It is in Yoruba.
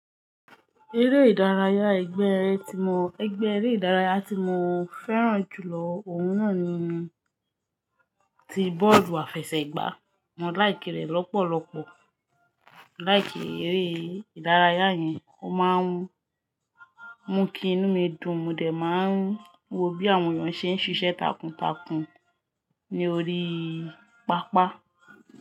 Eré ìdárayá, ẹgbẹ́ eré ìdárayá tí mo fẹ́ràn jù lọ òun náà ni ti bọ́ọ̀lù àfẹsẹ̀gbá. Mo laiki rẹ̀ lọ́pọ̀lọpọ̀. Laiki eré ìdárayá yẹn, ó máa ń mú kí inú mi dùn, mo dẹ̀ máa ń wo bí àwọn èèyàn ṣe ń ṣiṣẹ́ takuntakun ní orí pápá.